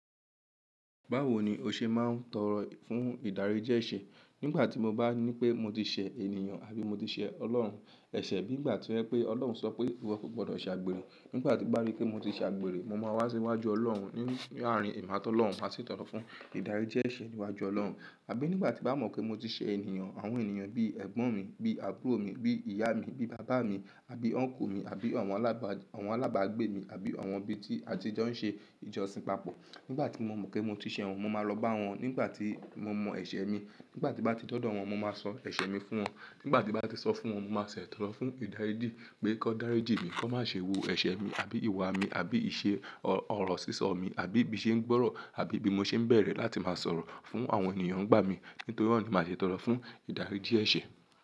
Báwo ni o ṣe máa ń tọrọ fún ìdáríjì ẹ̀ṣẹ̀? Nígbà tí mo bá ní pé mo ti ṣẹ̀ ènìyàn àbí mo ti ṣẹ Ọlọ́run ẹ̀ṣẹ̀. Nígbà tí ó jẹ́ pé Ọlọ́run sọ pé ìwọ kò gbọdọ̀ ṣe àgbèrè. Nígbà tí mo bá rí pé mo ti ṣe àgbèrè, mo máa wá síwájú Ọlọ́run. Nínú àárín ẹ̀mà tó lọun ba mo máa ṣètọrẹ fún ìdáríjì ẹ̀ṣẹ̀ níwájú Ọlọ́run. Àbí nígbà tí bá mọ̀ pé mo ti ṣẹ ènìyàn, àwọn ènìyàn bí ẹ̀gbọ́n mi, bí àbúrò mi, bí ìyá mi, bí bàbá mi àbí ọ́nkù mi àbí àwọn alaba alábàgbé mi àbí àwọn ibí tí a ti jo ń ṣe ìjọsìn papọ̀. Nígbà tí mo mọ̀ pé mo ti ṣe wọ́n, mo máa lọ bá wọn ni Nígbà tí mo mọ ẹ̀ṣẹ̀ mi, nígbà tí n bá ti dọ̀dọ̀ wọn, mo máa sọ ẹ̀ṣẹ̀ mi fún wọn. Nígbà tí bá ti sọ fún wọn, mo máa ṣètọrẹ fún ìdáríjì pé kan dáríjì mí, kan má ṣe wo ẹ̀ṣẹ̀ mi àbí ìwà mi àbí iṣẹ ọ̀rọ̀ sísọ mi àbí bí ìṣe ń gbọ́rọ̀ àbí bí mo ṣe ń bẹ̀rẹ̀ láti máa sọ̀rọ̀ fún àwọn ènìyàn ń gbá mi. Nítorí ọ́n màá ṣe tọrọ fún ìdáríjì ẹ̀ṣẹ̀.